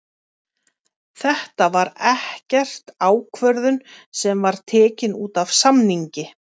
Þetta var ekkert ákvörðun sem var tekin útaf samningi?